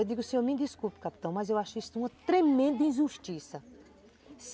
Eu digo, o senhor me desculpe, capitão, mas eu acho isso uma tremenda injustiça.